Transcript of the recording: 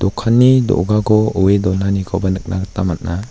dokanni do·gako oe donanikoba nikna gita man·a.